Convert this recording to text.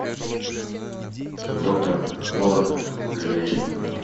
доктор лор ближайший